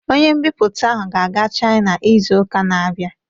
Ọnye mbiputa ahụ ga-aga china izu ụka n'abia